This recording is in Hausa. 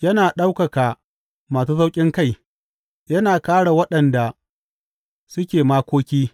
Yana ɗaukaka masu sauƙinkai, yana kāre waɗanda suke makoki.